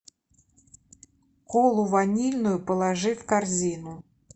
колу ванильную положи в корзину